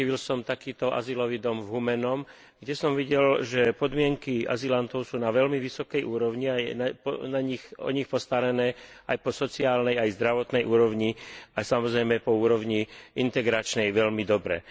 Navštívil som takýto azylový dom v Humennom, kde som videl, že podmienky azylantov sú na veľmi vysokej úrovni a je o nich postarané aj po sociálnej aj zdravotnej úrovni a samozrejme aj po úrovni integračnej veľmi dobre.